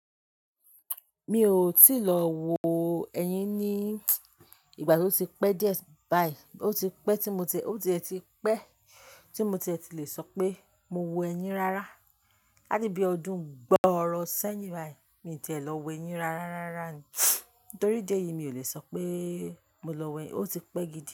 Mi ò tí lọ wo ẹyin ní ìgbà tí ó ti pẹ́ díẹ̀ báyìí. Ó ti pẹ́ tí mo tẹ, ó ti e ti pẹ́ tí mo ti e ti le sọ pé mo wo ẹyin rárá. Láti bí ọdún gbọọrọ sẹ́yìn báyìí, mi tì e lọ wo ẹyin rárá rárá. Nítorí ìdi eyìí mi ò lè sọ pé mo lọ wo ẹyin, ó ti pẹ́ gidi.